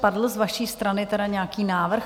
Padl z vaší strany tedy nějaký návrh?